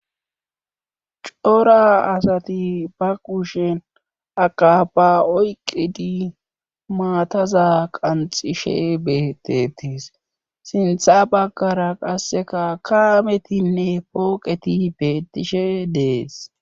cora asati ba qushen akapa oyqidi maataza qanxishe betetis sintha baggara qasseka kaametinne pooqeti betishe dees